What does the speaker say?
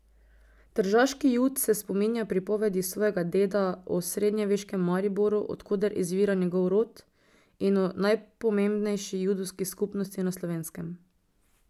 Tržaški Jud se spominja pripovedi svojega deda o srednjeveškem Mariboru, od koder izvira njegov rod, in o najpomembnejši judovski skupnosti na Slovenskem.